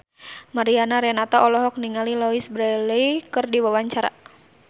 Mariana Renata olohok ningali Louise Brealey keur diwawancara